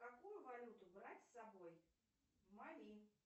какую валюту брать с собой в мали